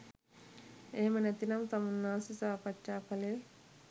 එහෙම නැතිනම් තමුන්නාන්සේ සාකච්ඡා කළේ